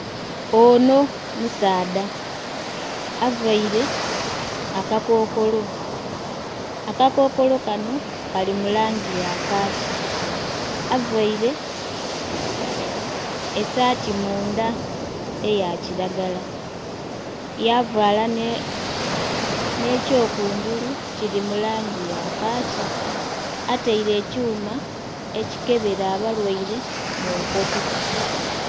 Ono musaadha availe akakokolo. Akakokolo kano kali mu langi ya kaaki. Availe esaati mundha eya kilagala, yavaala nh'ekyokungulu kili mu langi ya kaaki. Ataile ekyuma ekikebela abalwaire mu nkoto.